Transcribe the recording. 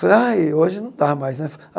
Falei, ai hoje não dá mais, né?